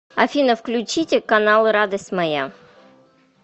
афина включите каналы радость моя